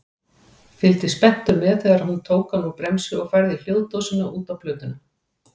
Fylgdist spenntur með þegar hún tók hann úr bremsu og færði hljóðdósina út á plötuna.